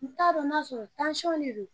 N t'a dɔn n'a sɔrɔ de don.